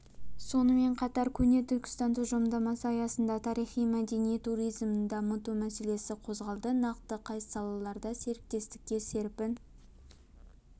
сонымен қатар көне түркістан тұжырымдамасы аясында тарихи-мәдени туризмін дамыту мәселесі қозғалды нақты қай салаларда серіктестікке серпін